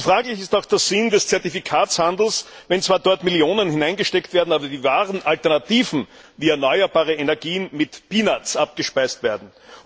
Fraglich ist auch der Sinn des Zertifikatehandels, wenn zwar dort Millionen hineingesteckt werden, aber die wahren Alternativen, wie erneuerbare Energien, mit abgespeist werden.